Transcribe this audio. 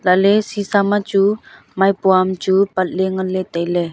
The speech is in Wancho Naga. lahley sisa ma chu maipua am chu patley nganley tailey.